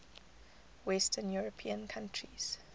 western european countries